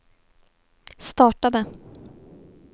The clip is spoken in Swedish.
startade